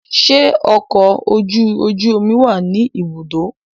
Ṣe ọkọ ojú oju omi wá ni ibùdó?